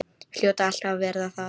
Hljóta alltaf að verða það.